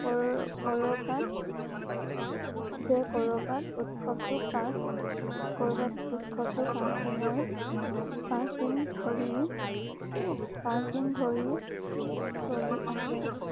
কৰকৰবাত যে কৰবাত উৎসৱটো পাঁচ কৰবাত উৎসৱটো পাঁচ দিনৰ পাঁচ দিন ধৰি পাঁচ দিন ধৰি চলি আছে।